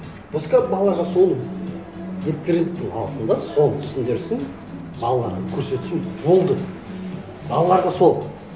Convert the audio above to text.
пускай балаларға соны интернеттен алсын да соны түсіндірсін қалғанын көрсетсін болды балаларға сол